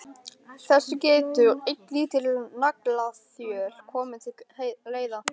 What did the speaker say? Þessu getur ein lítil naglaþjöl komið til leiðar.